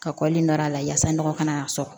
Ka kɔli nɔrɔ a la yaasa nɔgɔ ka n'a sɔrɔ